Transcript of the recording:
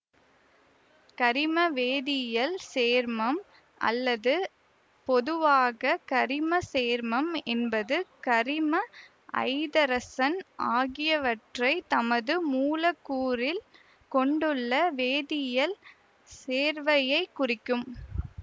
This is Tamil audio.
கரிமவேதியியல் சேர்மம் அல்லது பொதுவாக கரிம சேர்மம் என்பது கரிமம் ஐதரசன் ஆகியவற்றை தனது மூலக்கூறில் கொண்டுள்ள வேதியியல் சேர்வையைக் குறிக்கும்